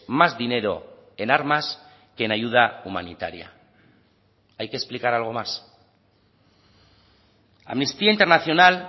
más dinero en armas que en ayuda humanitaria hay que explicar algo más amnistía internacional